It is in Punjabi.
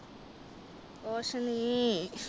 ਕੁਛ ਨਹੀਂ